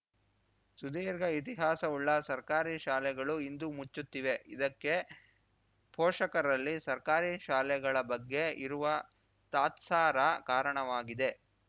ಸುದೀರ್ಘ ಇತಿಹಾಸವುಳ್ಳ ಸರ್ಕಾರಿ ಶಾಲೆಗಳು ಇಂದು ಮುಚ್ಚುತ್ತಿವೆ ಇದಕ್ಕೆ ಪೋಷಕರಲ್ಲಿ ಸರ್ಕಾರಿ ಶಾಲೆಗಳ ಬಗ್ಗೆ ಇರುವ ತಾತ್ಸಾರ ಕಾರಣವಾಗಿದೆ